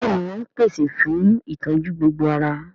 Bẹ́ẹ̀ni wọ́n ń pèsè fún ìtọ́jú gbogbo ara